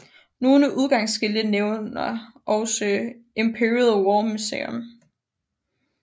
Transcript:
Nogle udgangsskilte nævnter også Imperial War Museum